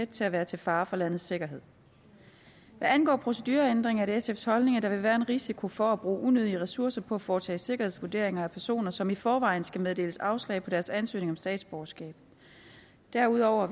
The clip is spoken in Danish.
til at være til fare for landets sikkerhed hvad angår procedureændringer er det sfs holdning at der vil være en risiko for at bruge unødige ressourcer på at foretage sikkerhedsvurderinger af personer som i forvejen skal meddeles afslag på deres ansøgning om statsborgerskab derudover